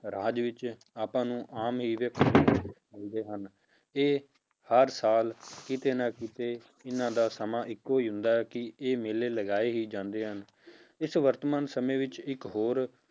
ਰਾਜ ਵਿੱਚ ਆਪਾਂ ਨੂੰ ਆਮ ਹੀ ਵੇਖਣ ਦੇ ਵਿੱਚ ਆਉਂਦੇ ਹਨ, ਇਹ ਹਰ ਸਾਲ ਕਿਤੇ ਨਾ ਕਿਤੇ ਇਹਨਾਂ ਦਾ ਸਮਾਂ ਇੱਕੋ ਹੀ ਹੁੰਦਾ ਹੈ ਕਿ ਇਹ ਮੇਲੇ ਲਗਾਏ ਹੀ ਜਾਂਦੇ ਹਨ, ਇਸ ਵਰਤਮਾਨ ਸਮੇਂ ਵਿੱਚ ਇੱਕ ਹੋਰ